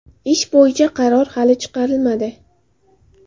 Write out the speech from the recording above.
Ish bo‘yicha qaror hali chiqarilmadi.